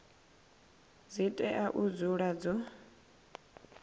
dzi tea u dzula dzo